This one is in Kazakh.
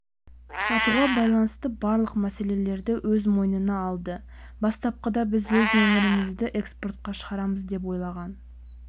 сатуға байланысты барлық мәселелерді өз мойнына алды бастапқыда біз өз өнімдерімізді экспортқа шығарамыз деп ойлаған